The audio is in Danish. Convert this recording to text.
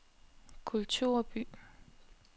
kulturby